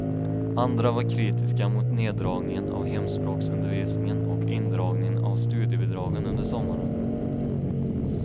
Andra var kritiska mot neddragningen av hemspråksundervisningen och indragningen av studiebidragen under sommaren.